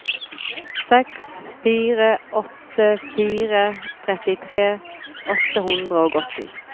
seks fire åtte fire trettitre åtte hundre og åtti